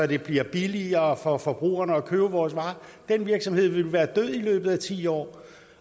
det bliver billigere for forbrugerne at købe vores varer den virksomhed ville være død i løbet af ti år